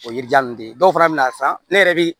O ye yiri jan ninnu de ye dɔw fana bɛna san ne yɛrɛ bɛ